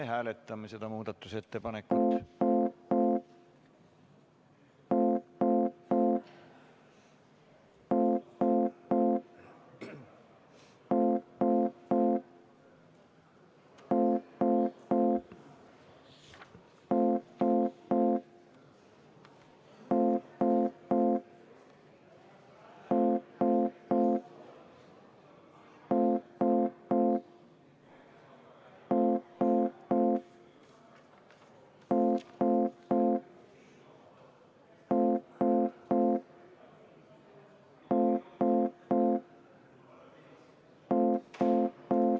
Me hääletame seda muudatusettepanekut.